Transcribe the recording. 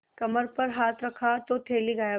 कमर पर हाथ रखा तो थैली गायब